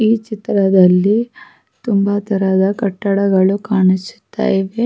ಈ ಚಿತ್ರದಲ್ಲಿ ತುಂಬ ತರಹದ ಕಟ್ಟಗಳು ಕಾಣುತ ಇದೆ --